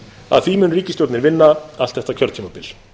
að því mun ríkisstjórnin vinna allt þetta kjörtímabil